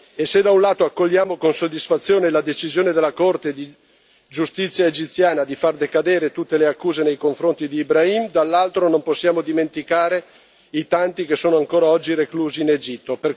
E se da un lato accogliamo con soddisfazione la decisione della Corte di giustizia egiziana di far decadere tutte le accuse nei confronti di Ibrahim, dall'altro non possiamo dimenticare i tanti che sono ancora oggi reclusi in Egitto.